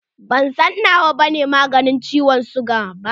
Ban san na wa ne maganin ciwon siga ba.